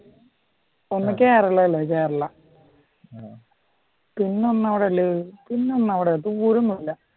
ഒന്ന് കേരളയില് കേരള പിന്നെ ഒന്ന് എവിടാ ഉള്ളത് ദൂരം ഒന്നുമില്ല.